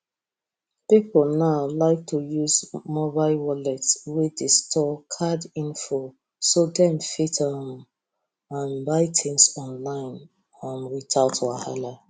people now like to use mobile wallet wey dey store card info so dem fit um um buy things online um without wahala